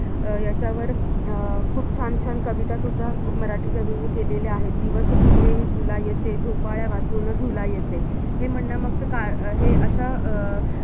अह याच्यावर अं खूप छान छान कवितासुद्धा मराठी कवीनी केलेल्या आहेत, दिवस तुझे हे फुलायचे, झोपाळ्यावाचून झुलायचे